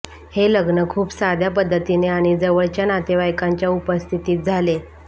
हे लग्न खूप साध्या पद्धतीने आणि जवळच्या नातेवाईकांच्या उपस्थितीत झाले